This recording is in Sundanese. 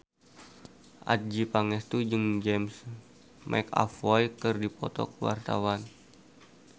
Adjie Pangestu jeung James McAvoy keur dipoto ku wartawan